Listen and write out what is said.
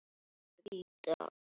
Einn niður!